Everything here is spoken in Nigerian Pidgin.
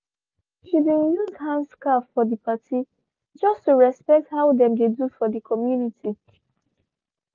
she bin use handscarf for the party just to respect the how them dey do for the community